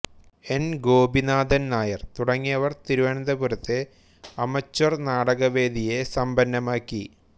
N Gopinathan Nair തുടങ്ങിയവർ തിരുവനന്തപുരത്തെ amateur നാടകവേദിയെ സമ്പന്നമാക്കി